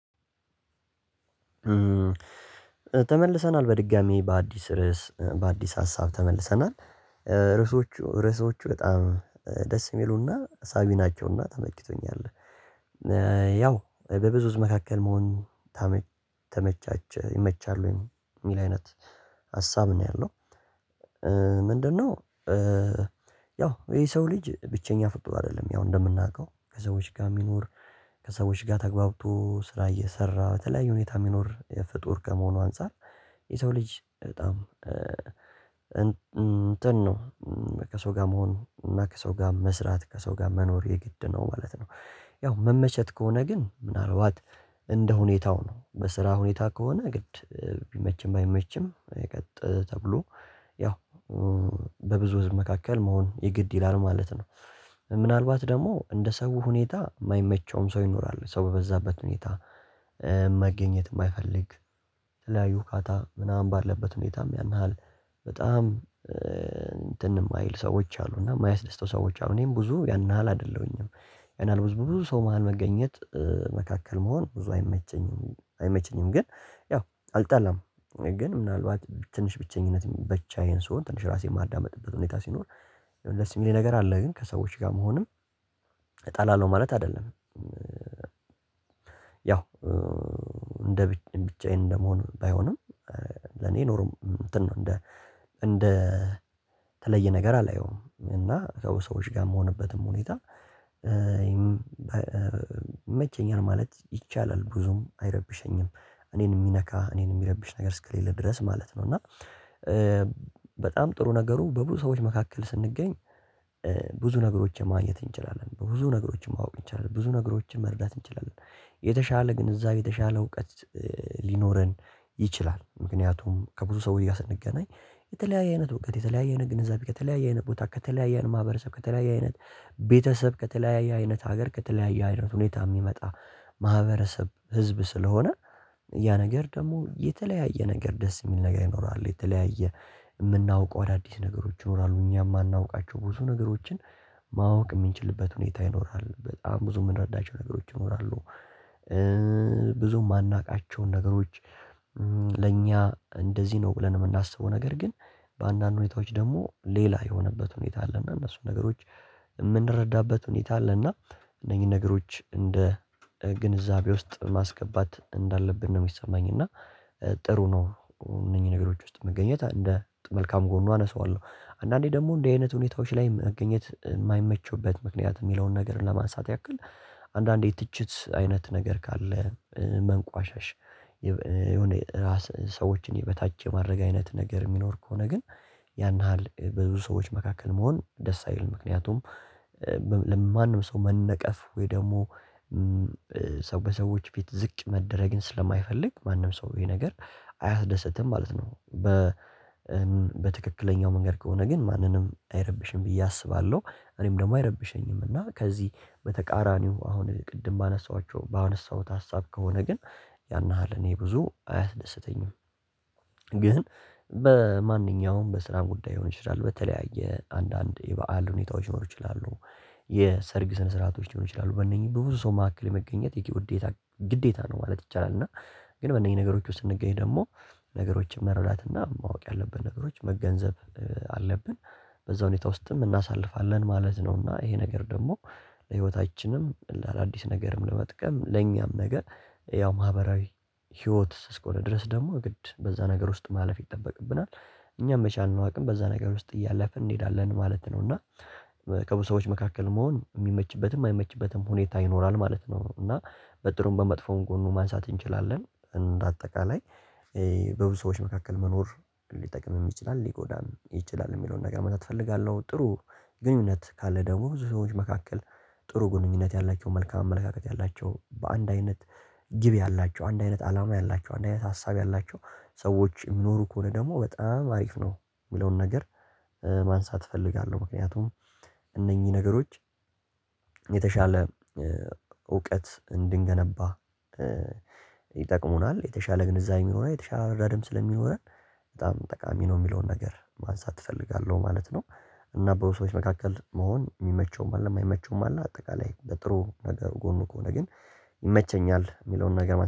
ተመልሰናል በድጋሚ በአዲስ ርዕስ በአዲስ ሀሳብ ተመልሰናል ርዕሶች ርዕሶች በጣም ደስ የሚሉና ሀሳቢ ናቸውና ተመክቶኛል ያው በብዙ ህዝብ መካከል መሆን ተመቻቸ ይመቻል ወይ የሚል አይነት ሀሳብ ነው ያለው ምንድነው ያው ይሄ ሰው ልጅ ብቸኛ ፍጡር አይደለም ያው እንደምናውቀው ከሰዎች ጋር የሚኖር ከሰዎች ጋር ተግባብቶ ስራ እየሰራ በተለያዩ ሁኔታ የሚኖር ፍጡር ከመሆኑ አንፃር የሰው ልጅ በጣም እንትን ነው ከሰው ጋር መሆን እና ከሰው ጋር መስራት ከሰው ጋር መኖር የግድ ነው ማለት ነው። ያው መመቸት ከሆነ ግን ምናልባት እንደ ሁኔታው ነው በስራ ሁኔታ ከሆነ ግድ ቢመችም ባይመችም የቀጥ ተብሎ ያው በብዙ ህዝብ መካከል መሆን የግድ ይላል ማለት ነው። ምናልባት ደግሞ እንደ ሰው ሁኔታ የማይመቸውም ሰው ይኖራል ሰው በበዛበት ሁኔታ መገኘት የማይፈልግ ተለያዩ ካታ ምናምን ባለበት ሁኔታም ያን ያህል በጣም እንትን የማይል ሰዎች አሉ እና የማያስደስተው ሰዎች አሉ እኔም ብዙ ያን ያህል አይደለሁኝም ያን ያህል ብዙ ሰው መሃል መገኘት መካከል መሆን ብዙ አይመቸኝም አይመቸኝም ግን ያው አልጣላም ግን ምናልባት ትንሽ ብቸኝነት ብቻዬን ስሆን ትንሽ ራሴን ማዳመጥበት ሁኔታ ሲኖር ደስ የሚለኝ ነገር አለ ግን ከሰዎች ጋር መሆንም እጣላለሁ ማለት አይደለም። ያው እንደ ብቻዬን እንደመሆን ባይሆንም ለኔ ኖሮ እንትን ነው እንደ እንደ ተለየ ነገር አላየውም እና ሰዎች ጋር የምሆንበትም ሁኔታ ይመቸኛል ማለት ይቻላል። ብዙም አይረብሸኝም እኔን የሚነካ እኔን የሚረብሽ ነገር እስከሌለ ድረስ ማለት ነው እና በጣም ጥሩ ነገሩ በብዙ ሰዎች መካከል ስንገኝ ብዙ ነገሮችን ማግኘት እንችላለን። በብዙ ነገሮችን ማወቅ እንችላለን። ብዙ ነገሮችን መርዳት እንችላለን የተሻለ ግንዛቤ የተሻለ እውቀት ሊኖረን ይችላል ምክንያቱም ከብዙ ሰው ጋር ስንገናኝ የተለያየ አይነት እውቀት የተለያየ ነገር ግንዛቤ ከተለያየ አይነት ቦታ ከተለያየን ማህበረሰብ ከተለያየ አይነት ቤተሰብ ከተለያየ አይነት ሀገር ከተለያየ አይነት ሁኔታ የሚመጣ ማህበረሰብ ህዝብ ስለሆነ ያ ነገር ደግሞ የተለያየ ነገር ደስ የሚል ነገር ይኖራል። የተለያየ የምናውቀው አዳዲስ ነገሮች ይኖራሉ። እኛም የማናውቃቸው ብዙ ነገሮችን ማወቅ የሚንችልበት ሁኔታ ይኖራል። በጣም ብዙ የምንረዳቸው ነገሮች ይኖራሉ። ብዙ የማናውቃቸውን ነገሮች ለእኛ እንደዚህ ነው ብለን የምናስበው ነገር ግን በአንዳንድ ሁኔታዎች ደግሞ ሌላ የሆነበት ሁኔታ አለ እና እነሱን ነገሮች የምንረዳበት ሁኔታ አለ እና እነኚህን ነገሮች እንደ ግንዛቤ ውስጥ ማስገባት እንዳለብን ነው የሚሰማኝ እና ጥሩ ነው እነኚህ ነገሮች ውስጥ መገኘት እንደ መልካም ጎኑ አነሳዋለሁ አንዳንዴ ደግሞ እንደ አይነት ሁኔታዎች ላይ መገኘት የማይመቸውበት ምክንያት የሚለውን ነገር ለማንሳት ያክል አንዳንዴ ትችት አይነት ነገር ካለ መንቋሻሽ የሆነ ሰዎችን የበታች የማድረግ አይነት ነገር የሚኖር ከሆነ ግን ያን ያህል ብዙ ሰዎች መካከል መሆን ደስ አይልም ምክንያቱም ለማንም ሰው መነቀፍ ወይ ደግሞ ሰው በሰዎች ፊት ዝቅ መደረግን ስለማይፈልግ ማንም ሰው ይሄ ነገር አያስደስትም ማለት ነው። በ በትክክለኛው መንገድ ከሆነ ግን ማንንም አይረብሽም ብዬ አስባለሁ እኔም ደግሞ አይረብሸኝም እና ከዚህ በተቃራኒው አሁን ቅድም ባነሳኋቸው ባነሳሁት ሀሳብ ከሆነ ግን ያን ያህል እኔ ብዙ አያስደስተኝም ግን በማንኛውም በስራን ጉዳይ ሊሆን ይችላል በተለያየ አንዳንድ የበአል ሁኔታዎች ሊኖሩ ይችላሉ የሰርግ ስነ ስርዓቶች ሊሆን ይችላሉ በእነኚህ በብዙ ሰው መካከል የመገኘት የግዴታ ግዴታ ነው ማለት ይቻላል። እና ግን በእነኚህ ነገሮች ውስጥ ስንገኝ ደግሞ ነገሮችን መረዳት እና ማወቅ ያለበት ነገሮች መገንዘብ አለብን። በዛ ሁኔታ ውስጥም እናሳልፋለን ማለት ነውና ይሄ ነገር ደግሞ ለህይወታችንም ለአዳዲስ ነገርም ለመጥቀም ለኛም ነገር ያው ማህበራዊ ህይወት እስከሆነ ድረስ ደግሞ ግድ በዛ ነገር ውስጥ ማለፍ ይጠበቅብናል። እኛም መቻልን አቅም በዛ ነገር ውስጥ እያለፍን እንሄዳለን ማለት ነው እና ከብዙ ሰዎች መካከል መሆን የሚመችበትም አይመችበትም ሁኔታ ይኖራል ማለት ነው እና በጥሩም በመጥፎን ጎኑ ማንሳት እንችላለን እንደ አጠቃላይ በብዙ ሰዎች መካከል መኖር ሊጠቅምም ይችላል ሊጎዳም ይችላል የሚለውን ነገር መምጣት እፈልጋለሁ። ጥሩ ግንኙነት ካለ ደግሞ ብዙ ሰዎች መካከል ጥሩ ግንኙነት ያላቸው መልካም አመለካከት ያላቸው በአንድ አይነት ግብ ያላቸው አንድ አይነት አላማ ያላቸው አንድ አይነት ሀሳብ ያላቸው ሰዎች የሚኖሩ ከሆነ ደግሞ በጣም አሪፍ ነው የሚለውን ነገር ማንሳት እፈልጋለሁ ምክንያቱም እነኚህ ነገሮች የተሻለ እውቀት እንድንገነባ ይጠቅሙናል። የተሻለ ግንዛቤ የሚኖረን የተሻለ ረዳ ደም ስለሚኖረን በጣም ጠቃሚ ነው የሚለውን ነገር ማንሳት እፈልጋለሁ ማለት ነው እና በሰዎች መካከል መሆን የሚመቸውም አለ የማይመቸውም አለ አጠቃላይ በጥሩ ነገር ጎኑ ከሆነ ግን ይመቸኛል የሚለውን ነገር